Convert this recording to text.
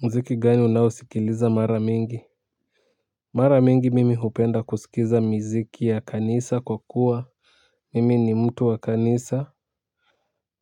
Mziki gani unaosikiliza mara mingi mara mingi mimi hupenda kusikiza miziki ya kanisa kwa kuwa mimi ni mtu wa kanisa.